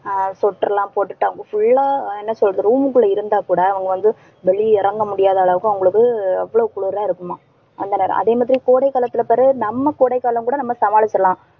ஆஹ் sweater லாம் போட்டுட்டு அவங்க full ஆ என்ன சொல்றது? room க்குள்ள இருந்தாக் கூட அவங்க வந்து வெளிய இறங்க முடியாத அளவுக்கு அவங்களுக்கு அவ்வளவு குளிர இருக்குமாம். அந்த நேரம், அதே மாதிரி கோடை காலத்துல பெறகு நம்ம கோடை காலம் கூட நம்ம சமாளிக்கலாம்.